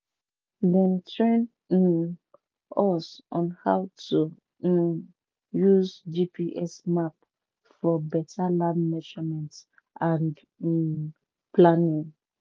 dem train um us on how to um use gps map for better land measurement and um planning